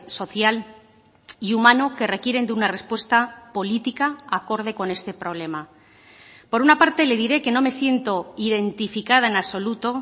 social y humano que requieren de una respuesta política acorde con este problema por una parte le diré que no me siento identificada en absoluto